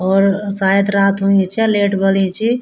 और शायद रात हुईं च लेट बलीं चि।